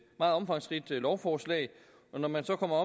meget omfangsrigt lovforslag og når man så kommer